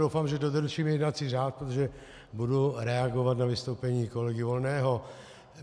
Doufám, že dodržím jednací řád, protože budu reagovat na vystoupení kolegy Volného.